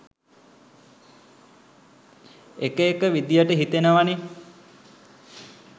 එක එක විදියට හිතෙනවනෙ